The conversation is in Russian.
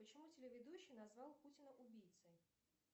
почему телеведущий назвал путина убийцей